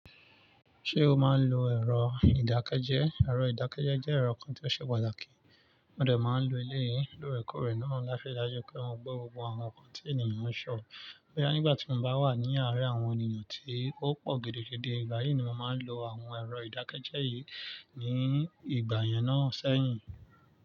Ṣé o máa ń lo ẹ̀rọ ìdákẹ́jẹ́? Ẹ̀rọ ìdákẹ́jẹ́ jẹ́ ẹ̀rọ kan tí ó ṣe pàtàkì, mo dẹ̀ máa ń lo eleyìí, lóòrèkóòrè náà látiri daju pé mọ gbọ́ gbogbo àwọn nǹkan tí ènìyàn ń sọ. Boyá nígbà tí mo bá wà ní àárín àwọn ènìyàn tí ó pọ̀ gidigidi, ìgbà yìí ni mo máa ń lo àwọn ẹ̀rọ ìdákẹ́jẹ́ yìí ní ìgbà yẹn náà sẹ́yìn.